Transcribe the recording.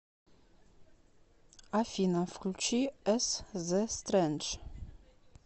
афина включи эс зэ стрэндж